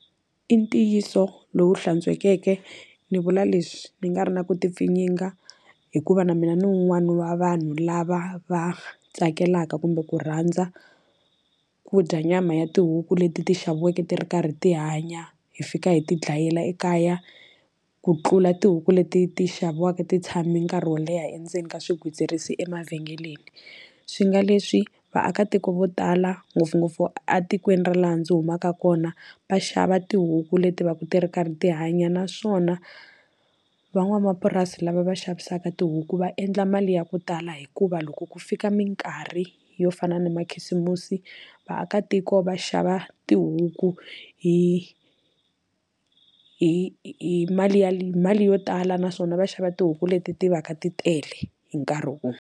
I ntiyiso lowu hlantswekeke ni vula leswi ni nga ri na ku ti pfinyinga hikuva na mina ni wun'wana wa vanhu lava va tsakelaka kumbe ku rhandza ku dya nyama ya tihuku leti ti xaviweke ti ri karhi ti hanya hi fika hi ti dlayela ekaya ku tlula tihuku leti ti xaviwaka ti tshame nkarhi wo leha endzeni ka swigwitsirisi emavhengeleni swi nga leswi vaakatiko vo tala ngopfungopfu a tikweni ra laha ndzi humaka kona va xava tihuku leti va ti ri karhi ti hanya naswona van'wamapurasi lava va xavisaka tihuku va endla mali ya ku tala hikuva loko ku fika minkarhi yo fana na makhisimusi vaakatiko va xava tihuku hi hi hi mali ya mali yo tala naswona va xava tihuku leti ti va ka ti tele hi nkarhi wun'we.